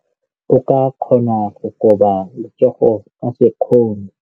O ka kgona go koba letsogo ka sekgono.